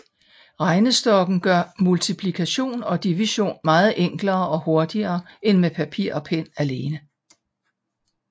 Regnestokken gør multiplikation og division meget enklere og hurtigere end med papir og pen alene